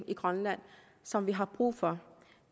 i grønland som vi har brug for